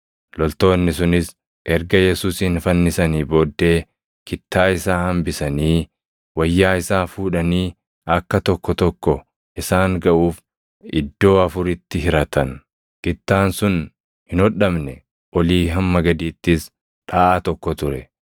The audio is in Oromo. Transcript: Loltoonni sunis erga Yesuusin fannisanii booddee kittaa isaa hambisanii wayyaa isaa fuudhanii akka tokko tokko isaan gaʼuuf iddoo afuritti hiratan. Kittaan sun hin hodhamne; olii hamma gadiittis dhaʼaa tokko ture.